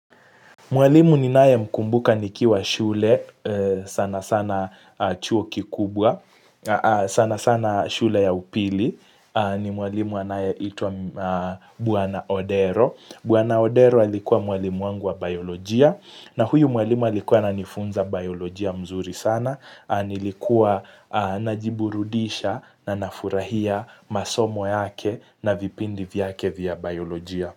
Mwalimu ninayemkumbuka nikiwa shule sana sana chuo kikubwa sana sana shule ya upili ni mwalimu anayeitwa Bwana Odero. Bwana Odero alikuwa mwalimu wangu wa biolojia na huyu mwalimu alikuwa ananifunza biolojia mzuri sana nilikuwa najiburudisha na nafurahia masomo yake na vipindi vyake vya biolojia.